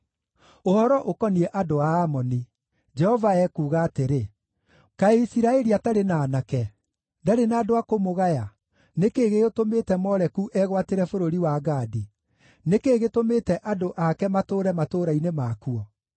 Ũhoro ũkoniĩ andũ a Amoni: Jehova ekuuga atĩrĩ: “Kaĩ Isiraeli atarĩ na aanake? Ndarĩ na andũ a kũmũgaya? Nĩ kĩĩ gĩgĩtũmĩte Moleku egwatĩre bũrũri wa Gadi? Nĩ kĩĩ gĩtũmĩte andũ ake matũũre matũũra-inĩ makuo?”